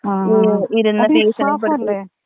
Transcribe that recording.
ആ അത് ഇസാഫല്ലെ?